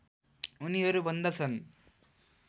उनीहरू भन्दछन्